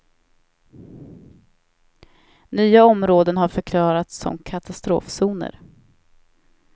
Nya områden har förklarats som katastrofzoner.